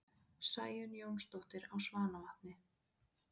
Sæunn Jónsdóttir á Svanavatni